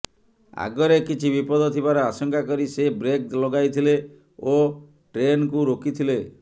ଆଗରେ କିଛି ବିପଦ ଥିବାର ଆଶଙ୍କା କରି ସେ ବ୍ରେକ୍ ଲଗାଇଥିଲେ ଓ ଟ୍ରେନ୍କୁ ରୋକି ଥିଲେ